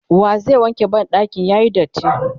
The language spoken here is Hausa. wa zai wanke banɗakin yayi datti?